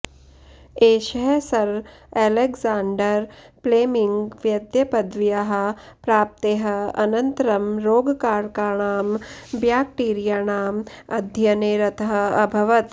एषः sir Alexander Fleming वैद्यपदव्याः प्राप्तेः अनन्तरं रोगकारकाणां ब्याक्टीरियाणाम् अध्ययने रतः अभवत्